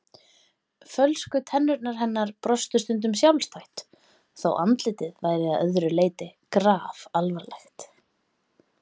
Fölsku tennurnar hennar brostu stundum sjálfstætt þótt andlitið væri að öðru leyti grafalvarlegt.